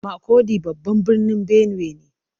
Makurdi babban birnin Benue ne.